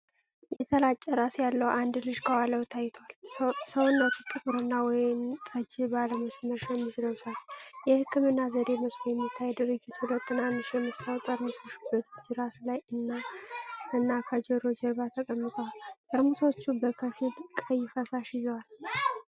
የተላጨ ራስ ያለው አንድ ልጅ ከኋላው ታይቷል፤ ሰውነቱ ጥቁርና ወይን ጠጅ ባለመስመር ሸሚዝ ለብሷል። የሕክምና ዘዴ መስሎ በሚታይ ድርጊት፣ ሁለት ትናንሽ የመስታወት ጠርሙሶች በልጁ ራስ ላይ እና ከጆሮው ጀርባ ተቀምጠዋል። ጠርሙሶቹ በከፊል ቀይ ፈሳሽ ይዘዋል።